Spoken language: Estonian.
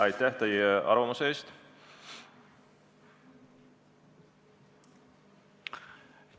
Aitäh selle arvamuse eest!